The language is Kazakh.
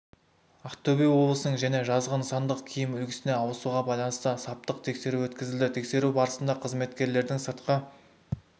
ақтөбе облысының және жазғы нысандық киім үлгісіне ауысуға байланысты саптық тексеру өткізілді тексеру барысында қызметкерлердің сыртқы